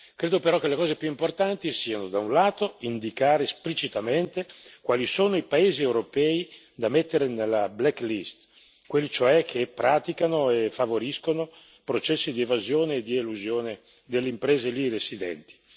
Credo però che le cose più importanti siano, da un lato, indicare esplicitamente quali sono i paesi europei da mettere nella black list quelli cioè che praticano e favoriscono processi di evasione e di elusione delle imprese lì residenti.